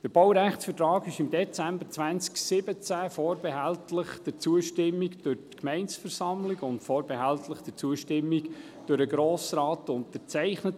Der Baurechtsvertrag wurde im Dezember 2017 vorbehältlich der Zustimmung durch die Gemeindeversammlung und vorbehältlich der Zustimmung durch den Grossen Rat unterzeichnet.